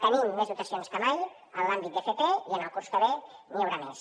tenim més dotacions que mai en l’àmbit d’fp i el curs que ve n’hi haurà més